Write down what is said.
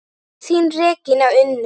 Þín Regína Unnur.